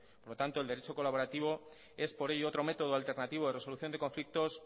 por tanto el derecho colaborativo es por ello otro método alternativo de resolución de conflictos